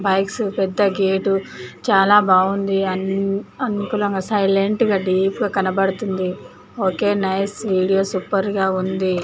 bikes పెద్ద gate చాలా బాగుంది అనుకులంగా సైలెంట్ గా డీప్ గ కనపడుతుంది ఓకే నైస్ వీడియో సూపర్ గా ఉంది